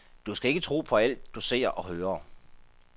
Du skal ikke tro på alt, du ser og hører.